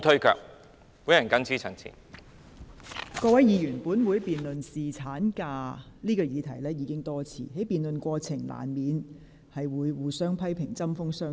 各位議員，本會已多次辯論侍產假這項議題，議員在辯論過程中難免互相批評，針鋒相對。